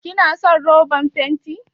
Kina son roban fenti?